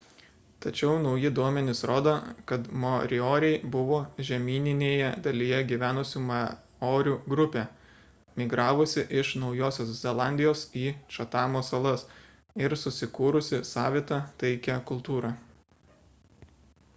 tačiau nauji duomenis rodo kad morioriai buvo žemyninėje dalyje gyvenusių maorių grupė migravusi iš naujosios zelandijos į čatamo salas ir susikūrusi savitą taikią kultūrą